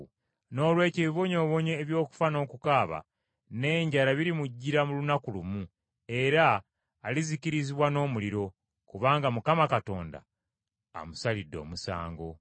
Noolwekyo ebibonyoobonyo eby’okufa n’okukaaba n’enjala birimujjira mu lunaku lumu, era alizikirizibwa n’omuliro; kubanga Mukama Katonda amusalidde omusango.